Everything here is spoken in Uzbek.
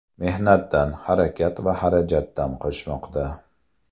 Mehnatdan, harakat va xarajatdan qochmoqda.